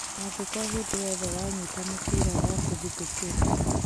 Angĩkorwo hĩnda yothe wanyita mũbira nokũgũthũkĩrwo